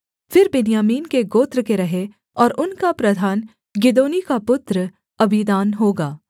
फिर बिन्यामीन के गोत्र के रहें और उनका प्रधान गिदोनी का पुत्र अबीदान होगा